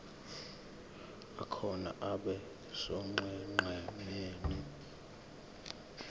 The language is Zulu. akhona abe sonqenqemeni